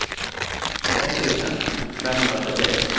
etttusen femhundratrettioett